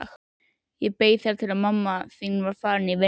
Ég beið þar til mamma þín var farin í vinnuna.